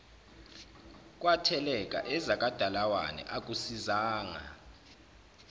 kwatheleka ezakwadalawane akusisizanga